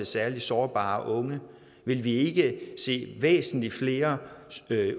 særligt sårbare unge ville vi ikke se væsentlig flere